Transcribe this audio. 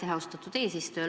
Aitäh, austatud eesistuja!